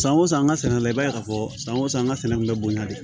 San o san an ka sɛnɛ la i b'a ye k'a fɔ san o san an ka sɛnɛ kun bɛ bonya de